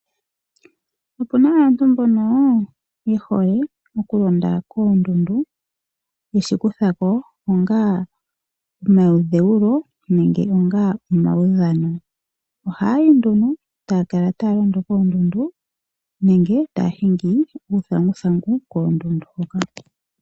Opu na aantu mbono ye hole okulonda koondundu yeshi kuthako onga omayidhewulo nenge onga omawudhano ohaya yi nduno e taya kala taya londo koondundu nenge taya hingi uuthanguthangu koondundu hoka.